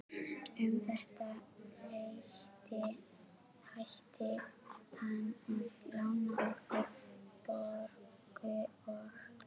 Um þetta leyti hætti hann að lána okkur Björgu og